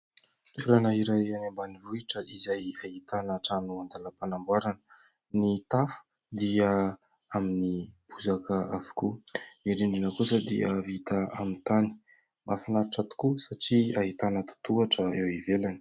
Toerana iray any ambanivohitra izay ahitana trano an-dàlam-panamboarana, ny tafo dia amin'ny bozaka avokoa, ny rindrina kosa dia vita amin'ny tany, mahafinaritra tokoa satria ahitana totohatra eo ivelany.